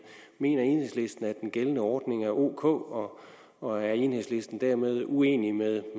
mener enhedslisten at den gældende ordning er ok og er enhedslisten dermed uenig med